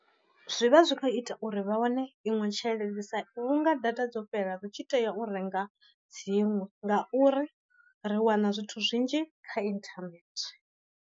Zwi vha zwi kho ita uri vha wane iṅwe tshelede sa vhunga data dzo fhela ri tshi tea u renga dziṅwe, nga uri ri wana zwithu zwinzhi kha inthanethe.